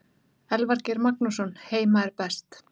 Elvar Geir Magnússon Heima er best.